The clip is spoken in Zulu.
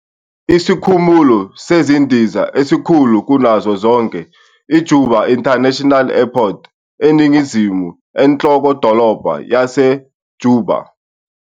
Isikhumulo sezindiza esikhulu kunazo zonke, iJuba International Airport, eningizimu enhlokodolobha yaseJuba.